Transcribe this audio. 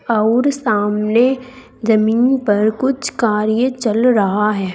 अउर सामने जमीन पर कुछ कार्य चल रहा है।